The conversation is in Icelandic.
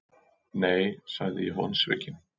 Nei, sagði ég vonsvikinn.